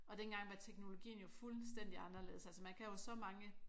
Og dengang var teknologien jo fuldstændig anderledes altså man kan jo så mange